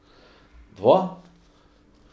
Dva?